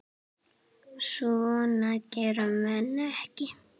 Svona gera menn ekki